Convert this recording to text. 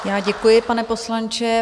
Já děkuji, pane poslanče.